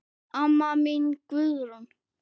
Amma mín Guðrún.